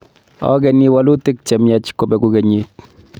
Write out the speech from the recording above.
Ageni walutik chemyach kobegu kenyiit